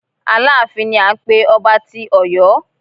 Aláàfin ni à ń pé ọba tí Ọ̀yọ́.